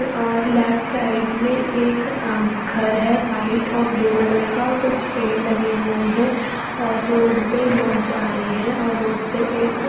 और left side में एक आम घर है व्हाइट और ब्लू कलर का कुछ पेड़ लगे हुए हैं और रोड पे लोग जा रहे हैं और रोड पे एक--